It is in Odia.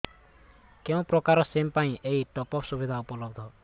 କେଉଁ ପ୍ରକାର ସିମ୍ ପାଇଁ ଏଇ ଟପ୍ଅପ୍ ସୁବିଧା ଉପଲବ୍ଧ